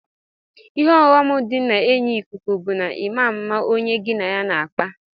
Ihe ọyọm di na enyi ikuku bu ima mma onye gi na ya n'akpa.